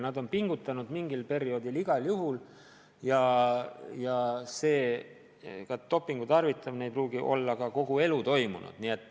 Ning nad on mingil perioodil raudselt pingutanud ja dopingu tarvitamine ei pruugi olla kogu selle aja jooksul toimunud.